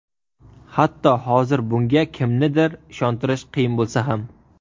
Hatto hozir bunga kimnidir ishontirish qiyin bo‘lsa ham.